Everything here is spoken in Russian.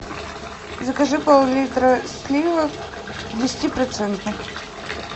закажи поллитра сливок десятипроцентных